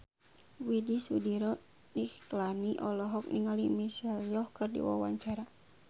Widy Soediro Nichlany olohok ningali Michelle Yeoh keur diwawancara